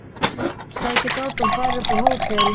Sækja Dodda og fara upp á hótel.